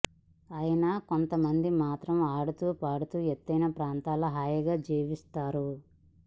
అయినా కొంత మంది మాత్రం ఆడుతూ పాడుతూ ఎత్తైన ప్రాంతాల్లో హాయిగా జీవించేస్తారు